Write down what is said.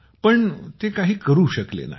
पण ते काही करू शकले नाहीत